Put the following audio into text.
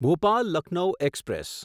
Bhopal Lucknow express